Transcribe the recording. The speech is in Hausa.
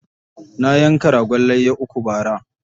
Na yanka ragon layya uku bara.